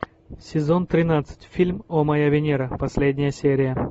сезон тринадцать фильм о моя венера последняя серия